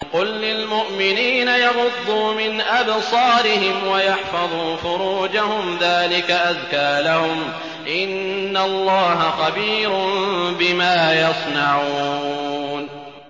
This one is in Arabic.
قُل لِّلْمُؤْمِنِينَ يَغُضُّوا مِنْ أَبْصَارِهِمْ وَيَحْفَظُوا فُرُوجَهُمْ ۚ ذَٰلِكَ أَزْكَىٰ لَهُمْ ۗ إِنَّ اللَّهَ خَبِيرٌ بِمَا يَصْنَعُونَ